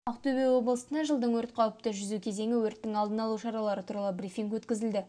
ақтөбе облысында жылдың өрт қауіпті жүзу кезеңі өрттің алдын алу шаралары туралы брифинг өткізілді